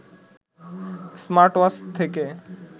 smartwatch থেকে